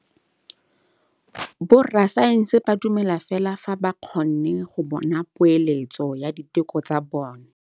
Borra saense ba dumela fela fa ba kgonne go bona poeletsô ya diteko tsa bone.